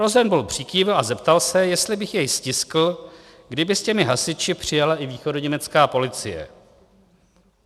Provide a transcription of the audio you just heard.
Rosenblum přikývl a zeptal se, jestli bych jej stiskl, kdyby s těmi hasiči přijela i východoněmecká policie.